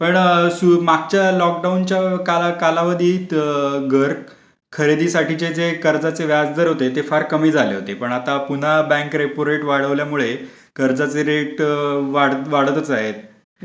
असे गृहकर्जाचे बरेच प्रकार आहेत. पण मागच्या लोकडाऊनच्या कालावधीत घर खरेदीसाठीचे कर्जाचे व्याजदर होते ते फार कमी झाले होते पण आता पुन्हा बँक रेपो रेट वाढवल्यामुळे कर्जाचे रेट वाढतच आहेत.